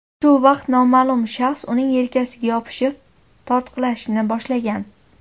Shu vaqt noma’lum shaxs uning yelkasiga yopishib, tortqilashni boshlagan.